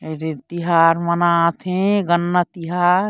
अरे तिहार मनात हे गन्ना तिहार--